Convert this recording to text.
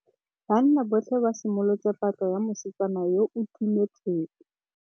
Banna botlhê ba simolotse patlô ya mosetsana yo o timetseng.